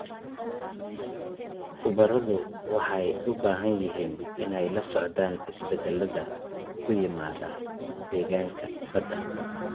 Khubaradu waxay u baahan yihiin inay la socdaan isbeddelada ku yimaada deegaanka badda.